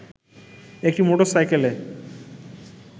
একটি মোটর সাইকেলে